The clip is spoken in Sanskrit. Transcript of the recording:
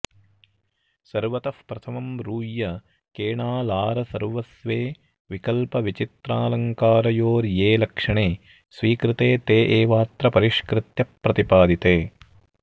सर्वतः प्रथमं रूय्यकेणालारसर्वस्वे विकल्पविचित्रालङ्कारयोर्ये लक्षणे स्वीकृते ते एवात्र परिष्कृत्य प्रतिपादिते